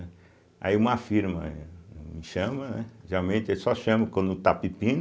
Aí uma firma me chama, né, geralmente eles só chamam quando está pepino.